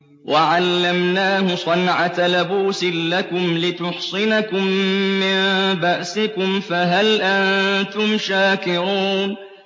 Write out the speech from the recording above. وَعَلَّمْنَاهُ صَنْعَةَ لَبُوسٍ لَّكُمْ لِتُحْصِنَكُم مِّن بَأْسِكُمْ ۖ فَهَلْ أَنتُمْ شَاكِرُونَ